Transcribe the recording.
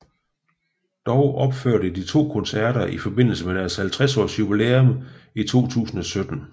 Dog opførte de to koncerter i forbindelse med deres 50 års jubilæum i 2017